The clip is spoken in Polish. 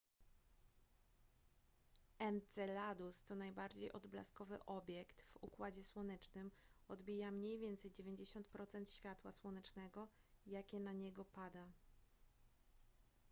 enceladus to najbardziej odblaskowy obiekt w układzie słonecznym odbija mniej więcej 90 procent światła słonecznego jakie na niego pada